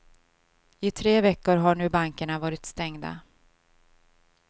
I tre veckor har nu bankerna varit stängda.